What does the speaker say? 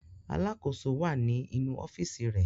Alákòóso wà ní inú ọ́fíísì rẹ̀.